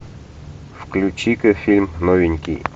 включи ка фильм новенький